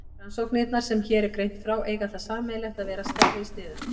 Rannsóknirnar sem hér er greint frá eiga það sameiginlegt að vera stærri í sniðum.